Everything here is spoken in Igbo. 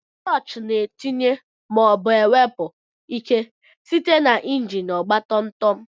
Kulochi na-etinye ma obu enwepu ike site na injin ọgba tum tum